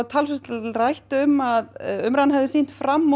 talsvert var rætt um að umræðan hefði sýnt fram